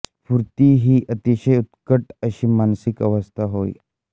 स्फूर्ती ही एक अतिशय उत्कट अशी मानसिक अवस्था होय